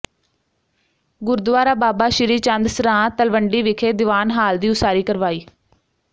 ਗੁਰਦੁਆਰਾ ਬਾਬਾ ਸ੍ਰੀ ਚੰਦ ਸਰਾਂ ਤਲਵੰਡੀ ਵਿਖੇ ਦੀਵਾਨ ਹਾਲ ਦੀ ਉਸਾਰੀ ਕਰਵਾਈ